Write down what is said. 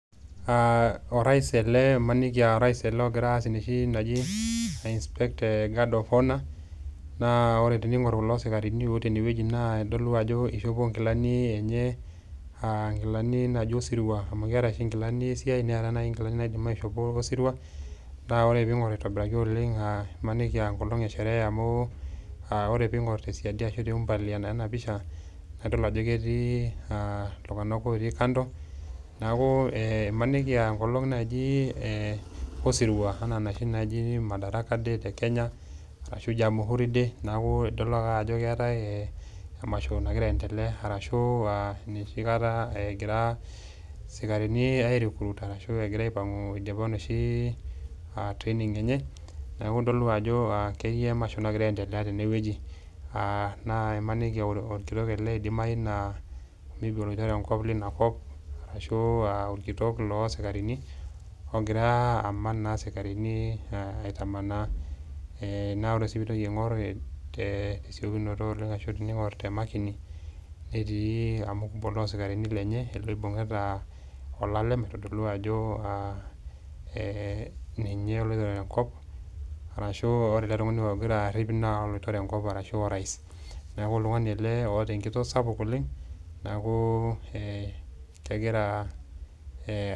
Orais ele, maniki orais ele ogira aas nooshi toki naji ainspect guard of honour. Naa tening'or duo kulo sikarini tenewueji naa idol ajo eishopo inkilani enye, aa inkilani naaji osirua, amu keatai oshi inkilani esiai, neatai sii inkilani naidim aishopo tosirua, naa ore pee ing'or aitobiraki oleng' aa maniki enkolong' esheree amu ore pee ing'or tesiadi ashu aa te umbali ena pisha naa idol ajo ketii iltung'anak otii kando. Neaku maaniki enkolong' naji osirua, nooshi naaji Madaraka day te Kenya, ashu Jamhuri day, neaku idol ake ajo keatai emasho nagira aendelea ashu noshikata egirai isikarini arecruit arashu egira aipang'u eidipa enoshi training enye, neaku idol ajo ketii emasho nagira aendelea tene wueji, maaniki aa olkitok ele naa keidimai naa maybe oloitore enkop leina kop, arashu aa olkitok loo isikarini ogira aman naa isikarini aitamanaa. Naa ore sii pee intoki aing'or ashu te esiokinoto oleng' , tining'or te makini, netii olmukubwai loo isikarini lenye, loibung'ita olalem, neitodolu ajo ninye loitore enkop, arashu ore ele tung'ani ogira arip naa oloitore enkop anaa orais. Neaku oltung'ani ele oata enkitoo sapuk oleng', neaku kegira.